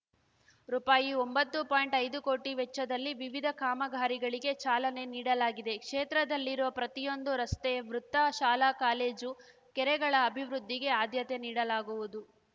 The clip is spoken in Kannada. ರುಪಾಯಿಒಂಬತ್ತು ಪಾಯಿಂಟ್ಐದು ಕೋಟಿ ವೆಚ್ಚದಲ್ಲಿ ವಿವಿಧ ಕಾಮಗಾರಿಗಳಿಗೆ ಚಾಲನೆ ನೀಡಲಾಗಿದೆ ಕ್ಷೇತ್ರದಲ್ಲಿರುವ ಪ್ರತಿಯೊಂದು ರಸ್ತೆ ವೃತ್ತ ಶಾಲಾ ಕಾಲೇಜು ಕೆರಗಳ ಅಭಿವೃದ್ಧಿಗೆ ಆದ್ಯತೆ ನೀಡಲಾಗುವುದು